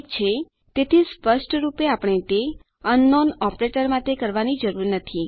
ઠીક છે તેથી સ્પષ્ટરૂપે આપણે તે અંકનાઉન ઓપરેટર માટે કરવાની જરૂર નથી